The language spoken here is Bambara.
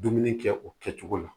Dumuni kɛ o kɛcogo la